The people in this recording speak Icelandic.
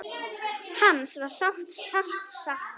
Hans var sárt saknað.